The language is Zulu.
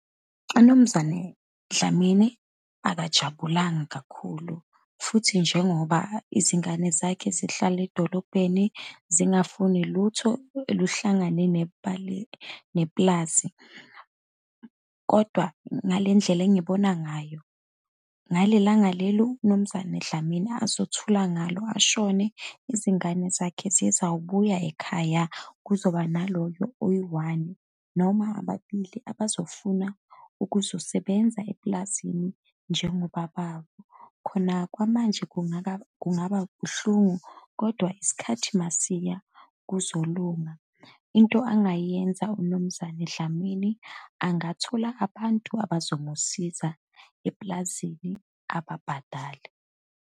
UMnumzane Dlamini akajabulanga kakhulu, futhi njengoba izingane zakhe zihlala edolobheni, zingafuni lutho eluhlangane nepulazi. Kodwa ngale ndlela engibona ngayo, ngalelanga lelu uMnumzane Dlamini azothula ngalo, ashone, izingane zakhe zizawubuya ekhaya, kuzoba naloyo oyi-one, noma ababili, abazofuna ukuzosebenza epulazini njengobaba wabo. Khona kwamanje kungaka, kungaba buhlungu, kodwa isikhathi uma siya kuzolunga. Into angayenza uMnumzane Dlamini, angathola abantu abazomusiza epulazini, ababhadale.